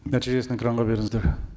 нәтижесін экранға беріңіздер